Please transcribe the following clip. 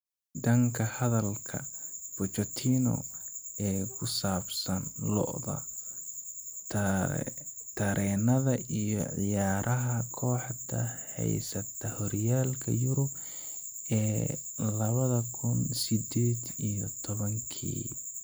Dhanka hadalka Pochettino ee ku saabsan lo'da, tareenada iyo ciyaaraha kooxda heysata horyaalka Yurub ee labada kun sideed iyo tobankii.